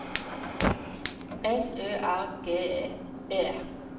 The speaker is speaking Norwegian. S Ø R G E